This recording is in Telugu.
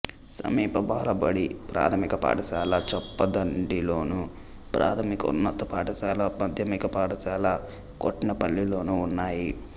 సమీప బాలబడి ప్రాథమిక పాఠశాల చొప్పదండిలోను ప్రాథమికోన్నత పాఠశాల మాధ్యమిక పాఠశాల కట్నేపల్లిలోనూ ఉన్నాయి